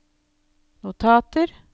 notater